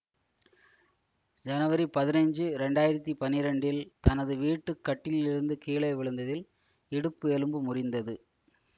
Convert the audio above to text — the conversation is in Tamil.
ஜனவரி பதினஞ்சு இரண்டு ஆயிரத்தி பன்னிரெண்டில் தனது வீட்டு கட்டிலிலிருந்து கீழே விழுந்ததில் இடுப்பு எலும்பு முறிந்தது